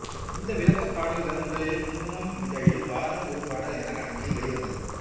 இந்த விளக்கப் பாடல்கள் முதலில் குங்குமம் இதழில் வாரம் ஒரு பாடல் என்ற கணக்கில் வெளிவந்தது